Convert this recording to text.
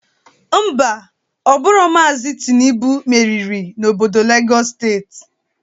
Ḿbà, Ọ bụrọ Maazi Tịnubụ meriri n'obodo Legọs steeti.